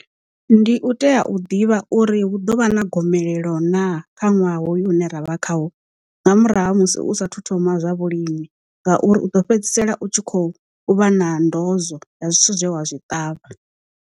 Ndi u tea u ḓivha uri hu ḓovha na gomelelo naa? Kha nwaha hoyu une ra vha khawo nga murahu musi u sa thu thoma zwa vhulimi ngauri u ḓo fhedzisela u tshi kho u vha na ndozwo ya zwithu zwe wa zwi ṱavha.